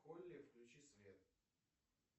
в холле включи свет